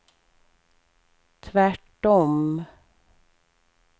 tvärtom